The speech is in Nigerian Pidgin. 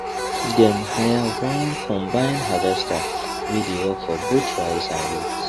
dem hire one combined harvester wey dey work for both rice and wheat